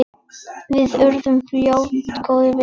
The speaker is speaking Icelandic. Við urðum fljótt góðir vinir.